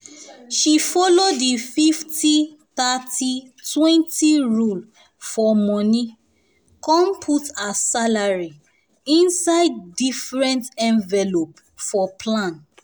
she follow di 50/30/20 rule for money come put her salary inside salary inside different envelope for plan.